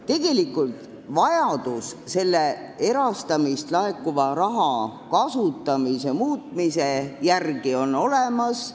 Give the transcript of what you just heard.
Tegelikult on vajadus erastamisest laekuva raha kasutamist muuta olemas.